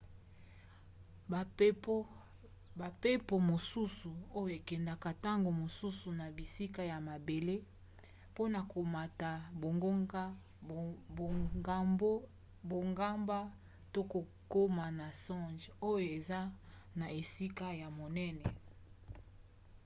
bampepo mosusu oyo ekendaka ntango mosusu na bisika ya mabele mpona komata bangomba to kokoma na songe oyo eza na esika ya monene